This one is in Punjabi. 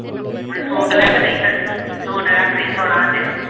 ਮੈਨੂੰ ਸੂਟ ਲੈ ਕੇ ਦੇਈ ਫੇਰ ਸੂਟ ਲੈ ਕੇ ਦੇਈ ਸੋਹਣਾ ਜਿਹਾ।